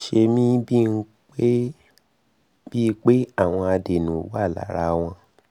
ó ń ṣe mí bíi pé àwọn adẹ́nú wà lára wọn